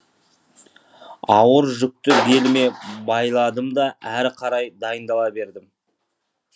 ауыр жүкті беліме байладымда әрі қарай дайындала бердім